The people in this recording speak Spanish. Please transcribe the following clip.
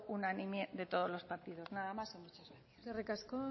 unánime de todos los partidos nada más y muchas gracias eskerrik asko